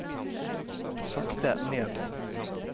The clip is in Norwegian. sakte ned